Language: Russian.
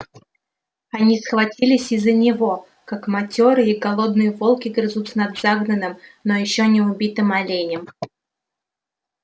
они схватились из-за него как матёрые и голодные волки грызутся над загнанным но ещё не убитым оленем